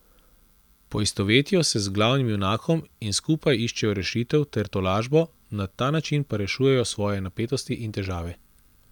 Poistovetijo se z glavnim junakom in skupaj iščejo rešitev ter tolažbo, na ta način pa rešujejo svoje napetosti in težave.